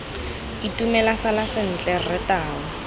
itumela sala sentle rre tau